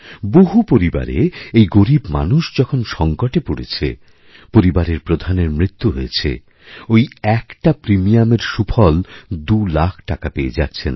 কোনও পরিবারে এই গরীবমানুষ যখন সংকটে পড়েছে পরিবারের প্রধানের মৃত্যু হয়েছে ঐ একটা প্রিমিয়ামের সুফলদুলাখ টাকা পেয়ে যাচ্ছেন